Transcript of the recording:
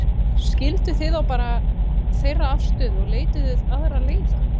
Skilduð þið þá bara þeirra afstöðu og leituðuð aðra leiða?